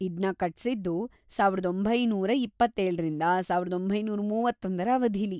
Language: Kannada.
ಇದ್ನ ಕಟ್ಸಿದ್ದು ಸಾವಿರದ ಒಂಬೈನೂರ ಇಪ್ಪತ್ತೇಳರಿಂದ ಸಾವಿರದ ಒಂಬೈನೂರ ಮೂವತ್ತೊಂದರ ಅವಧೀಲಿ.